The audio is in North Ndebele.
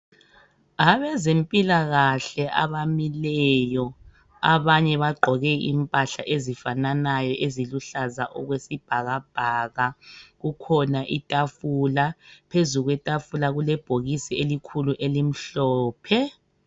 Abezempilakahle abamileyo abanye bagqoke impahla ezifananayo eziluhlaza okwesibhakabhaka kukhona itafula phezu kwetafula kukhona ibhokisi elikhulu elimhlophe.